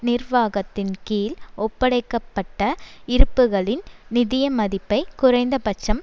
நிர்வாகத்தின்கீழ் ஒப்படைக்க பட்ட இருப்புக்களின் நிதியமதிப்பை குறைந்தபட்சம்